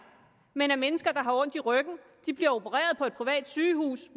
men at mennesker der har ondt i ryggen bliver opereret på et privat sygehus